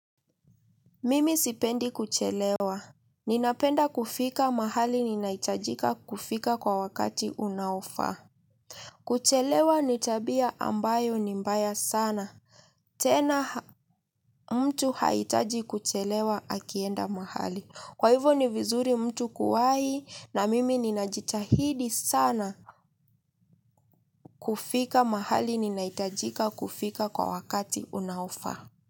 Mimi sipendi kuchelewa. Ninapenda kufika mahali ninahitajika kufika kwa wakati unaofaa. Kuchelewa ni tabia ambayo ni mbaya sana tena mtu haitaji kuchelewa akienda mahali. Kwa hivo ni vizuri mtu kuwahi na mimi ninajitahidi sana kufika mahali ninahitajika kufika kwa wakati unaofaa.